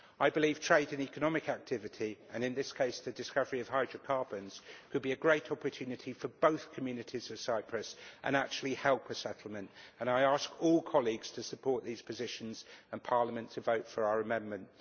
I believe trade and economic activity, and in this case the discovery of hydrocarbons, could be a great opportunity for both communities in Cyprus, and actually help a settlement, and I ask all colleagues to support these positions and Parliament to vote for our amendment.